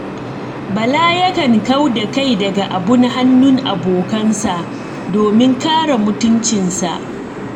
Bala yakan kau da kai daga abun hannun abokansa, domin kare mutuncinsa.